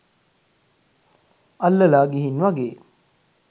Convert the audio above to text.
අල්ලලා ගිහින් වගේ.